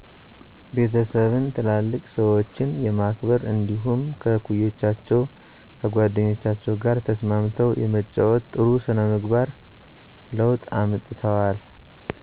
ቤተሰብን፣ ትላልቅ ሰዎችን የማክበር እንዲደሁም ከእኩዮቻቸው ጓደኞቻቸው ጋር ተስማምው የመጫወት ጥሩ ስነ የስነ ምግባር ለውጥ አምጥተዋል